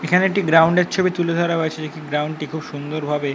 এখানে একটি গ্রাউন্ড এর ছবি তুলে ধরা হয়েছে যেটি গ্রাউন্ড টি খুব সুন্দর ভাবে--